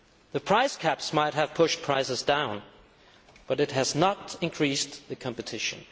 The price caps might have pushed prices down, but it has not increased the competition.